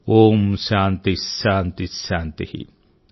ఓం శాంతిః శాంతిః శాంతిః ॥